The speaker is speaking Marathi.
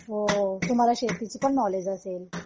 हो तुम्हाला शेतीचीपण नॉलेज असेल